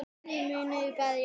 Bræður munu berjast